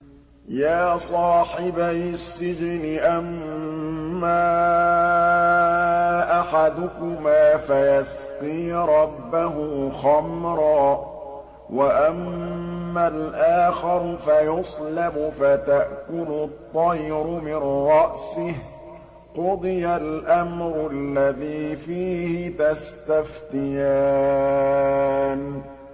يَا صَاحِبَيِ السِّجْنِ أَمَّا أَحَدُكُمَا فَيَسْقِي رَبَّهُ خَمْرًا ۖ وَأَمَّا الْآخَرُ فَيُصْلَبُ فَتَأْكُلُ الطَّيْرُ مِن رَّأْسِهِ ۚ قُضِيَ الْأَمْرُ الَّذِي فِيهِ تَسْتَفْتِيَانِ